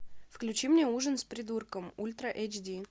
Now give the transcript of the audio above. включи мне ужин с придурком ультра эйч ди